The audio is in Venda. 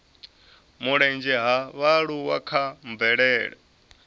mulenzhe ha vhaaluwa kha mvelele